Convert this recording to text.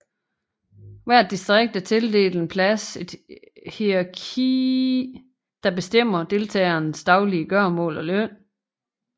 Hvert distrikt er tildelt en plads et hierarkiet der bestemmer deltagernes daglige gøremål og løn